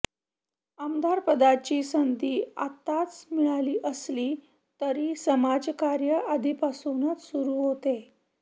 आमदारपदाची संधी आताच मिळाली असली तरी समाजकार्य आधीपासूनच सुरु होते